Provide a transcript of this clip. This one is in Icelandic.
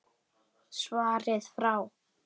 Svarið frá